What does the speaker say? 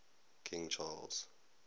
king charles